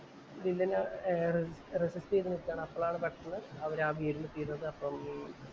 വില്ലനെ arrest ചെയ്തു നില്‍ക്കയാണ്‌ അപ്പോളാണ് പെട്ടന്ന് അവരാ ആ വീടിനു തീയിടുന്നത്. അപ്പം